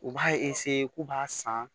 U b'a k'u b'a san